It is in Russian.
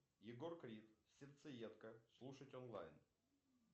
егор крид сердцеедка слушать онлайн